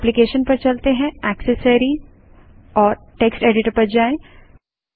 application GT accessories GT text editor पर जाएँ